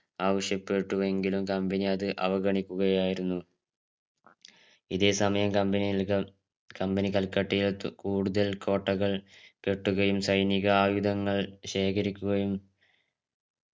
ആവിശ്യപെട്ടുവെങ്കിലും company അത് അവഗണിക്കുകയായിരുന്നു ഇതേ സമയം company നികൾ company കൽക്കട്ടയിൽ എത്തു കൂടുതൽ കോട്ടകൾ കെട്ടുകയും സൈനീക ആയുധങ്ങൾ ശേഖരിക്കുകയും